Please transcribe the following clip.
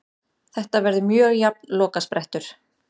Þetta verður mjög jafn lokasprettur.